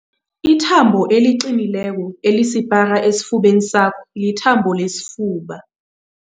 Ithambo eliqinileko elisipara esifubeni sakho lithambo lesifuba.